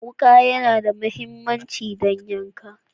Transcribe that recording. Wuka yAna da mahimmanci don yankan